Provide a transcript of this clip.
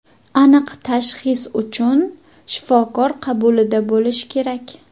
Aniq tashxis uchun shifokor qabulida bo‘lish kerak.